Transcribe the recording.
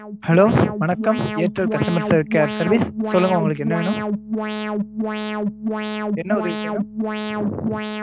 hello வணக்கம் airtel customer care service சொல்லுங்க உங்களுக்கு என்ன வேணும்? என்ன உதவி வேணும்?